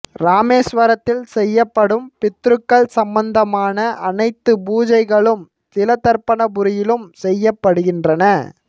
இராமேஸ்வரத்தில் செய்யப்படும் பித்ருக்கள் சம்பந்தமான அனைத்து பூஜைகளும் திலதர்ப்பணபுரியிலும் செய்யப் படுகின்றன